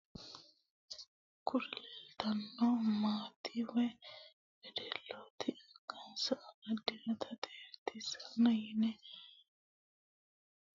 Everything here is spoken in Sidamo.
Kuri leleitano manoti woy weddeloti angassa amadinota xexxerisaho yine woshshinanita ikana kurri xexxerisa amadhinori manna dariguni dariga hadhe hadhe birra afidhano dogoti